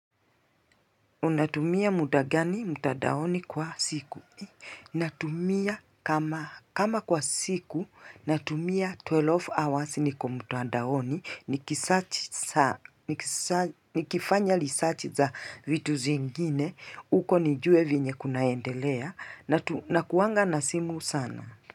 Unatumia muda gani mtandaoni kwa siku? Natumia kama kama kwa siku, natumia 12 hours niko mutadaoni, nikifanya lisach za vitu zingine, uko nijue venye kunaendelea, na kuanga na simu sana.